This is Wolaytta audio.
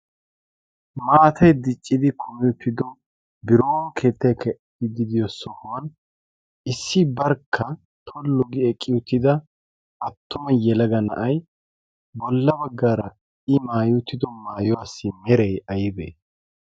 maatay diccidi kumi utido biron keettay keexxidi diyo sohuwan issi barkka tollu gi eqqi uttida attuma yelaga na'ay bolla baggaara i maayi utido maayuwaassi meree aybee?